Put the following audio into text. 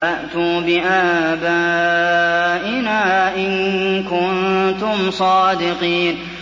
فَأْتُوا بِآبَائِنَا إِن كُنتُمْ صَادِقِينَ